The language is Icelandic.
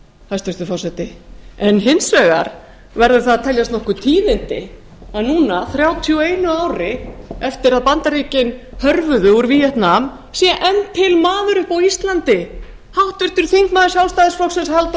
hæstvirtur forseti en hins vegar verða það að teljast nokkur tíðindi að núna þrjátíu og einu ári eftir að bandaríkin hörfuðu úr víetnam sé enn til maður uppi á íslandi háttvirtur þingmaður sjálfstæðisflokksins halldór